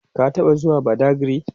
ka taɓa zuwa badagry?